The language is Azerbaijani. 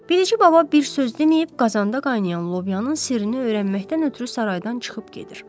Bilici baba bir söz deməyib qazanda qaynayan lobyanın sirrini öyrənməkdən ötrü saraydan çıxıb gedir.